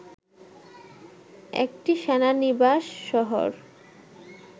একটি সেনানিবাস শহর